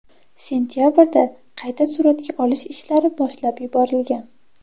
Sentabrda qayta suratga olish ishlari boshlab yuborilgan.